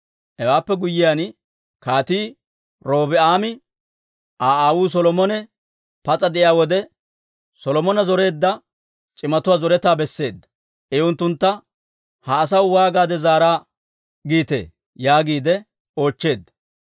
Hewaappe guyyiyaan, Kaatii Robi'aame Aa aawuu Solomone pas'a de'iyaa wode, Solomone zoreedda c'imatuwaa zoretaa besseedda. I unttuntta, «Ha asaw waagaade zaara giitee?» yaagiide oochcheedda.